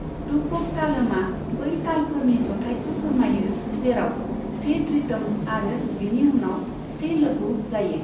रूपक तालमआ बै तालफोरनि जथायखौ फोरमायो जेराव से धृतम् आरो बिनि उनाव से लघु जायो।